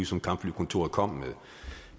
som kampflykontoret kom med